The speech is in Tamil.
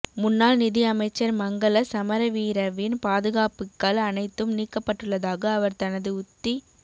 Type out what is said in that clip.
முன்னாள் நிதி அமைச்சர் மங்கள சமரவீரவின் பாதுகாப்புக்கள் அனைத்தும் நீக்கப்பட்டுள்ளதாக அவர் தனது உத்தி